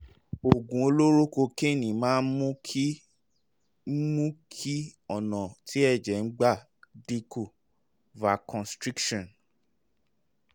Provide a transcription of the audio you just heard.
oògùn olóró kokéènì máa ń mú kí mú kí ọ̀nà tí ẹ̀jẹ̀ ń gbà dín kù vasoconstriction